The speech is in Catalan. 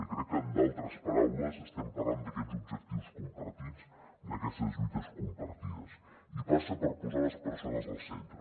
i crec que en d’altres paraules estem parlant d’aquests objectius compartits d’aquestes lluites compartides i passa per posar les persones al centre